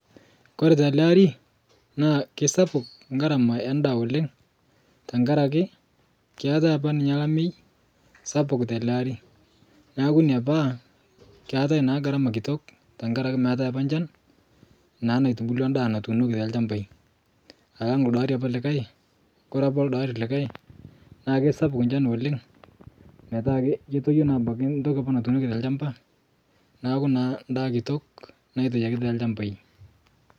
Kore tale ari naa keisapuk ngarama endaa aoleng' takaraki, keatae apa ninye laamei sapuk talei aari neeku inia paa keatai naa ngarama kitok takareki meatae apa nchan naa naitubulwa ndaa natuunoki te lchambai alang' ldo ari apa likae, kore apa lduo aari likae naa keisapuk nchan oleng'petaa keitoiyo naa abaki ntoki apa natuunoki te lchamba naaku naa ndaa kitok naitayiaki te lchambai.